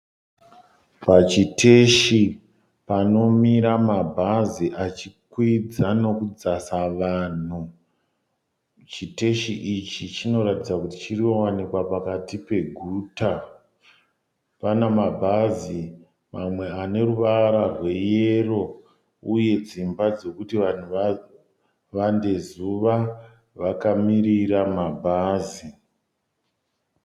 Pachiteshi panomira mabhazi achikwidza nokudzasa vanhu. Chitesi ichi chinoratidza kuti chinowanikwa pakati peguta. Pana mabhazi amwe ane ruvara rweyero uye dzimba dzokuti vanhu vavande zuva vakamirira mabhazi.